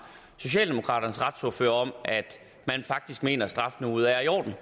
socialdemokraternes retsordfører om at man faktisk mener at strafniveauet er i orden